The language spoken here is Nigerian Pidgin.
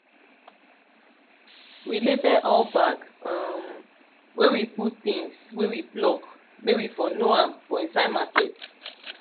we label all bag um wey we put things wey we pluck may we for know am for inside market